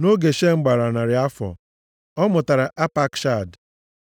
nʼoge Shem gbara narị afọ, ọ mụtara Apakshad.